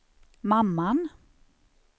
mamman